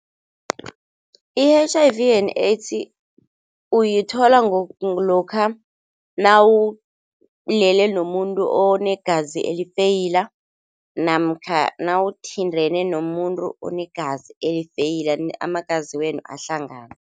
I-H_I_V and AIDS uyithola ngokuthi lokha nawulele nomuntu onegazi elifeyila namkha nawuthintene nomuntu onegazi elifeyila, amagazi wenu ahlangana.